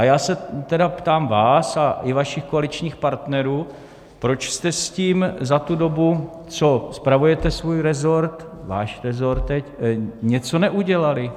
A já se tedy ptám vás a i vašich koaličních partnerů, proč jste s tím za tu dobu, co spravujete svůj rezort, váš rezort teď, něco neudělali.